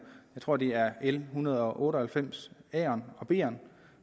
jeg tror det er l en hundrede og otte og halvfems